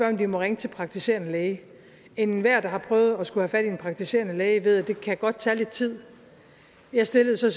om de må ringe til praktiserende læge enhver der har prøvet at skulle have fat i en praktiserende læge ved at det godt kan tage lidt tid jeg stillede så